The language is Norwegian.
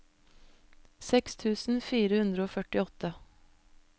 seks tusen fire hundre og førtiåtte